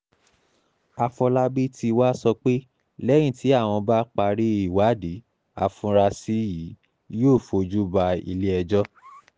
àfọlábí tí wàá sọ pé lẹ́yìn tí àwọn bá parí ìwádìí afurasí yìí yóò fojú ba ilé-ẹjọ́